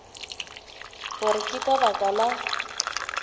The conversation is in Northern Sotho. gore ke ka baka la